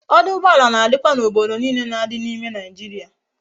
Oduugboala na dikwa na obodo niile na di na ime naijiria